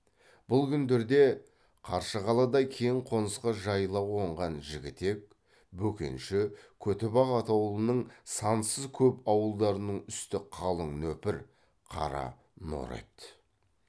бұл күндерде қаршығалыдай кең қонысқа жайыла қонған жігітек бөкенші көтібақ атаулының сансыз көп ауылдарының үсті қалың нөпір қара нор еді